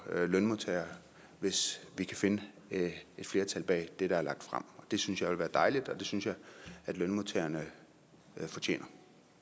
lønmodtagerne hvis vi kan finde et flertal bag det der er lagt frem det synes jeg ville være dejligt og det synes jeg at lønmodtagerne fortjener